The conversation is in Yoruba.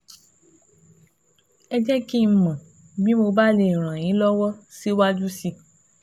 Ẹ jẹ́ kí n mọ̀ bí mo bá lè ràn yín lọ́wọ́ síwájú sí i